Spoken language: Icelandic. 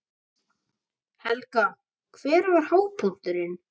Helga: Hver var hápunkturinn?